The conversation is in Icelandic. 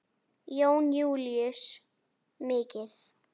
Jón Júlíus: Mikið?